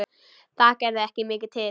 Það gerði ekki mikið til.